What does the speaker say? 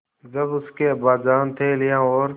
जब उसके अब्बाजान थैलियाँ और